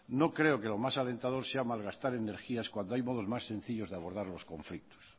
no creo que lo más alentador sea malgastar energías cuando hay modos más sencillos de abordar los conflictos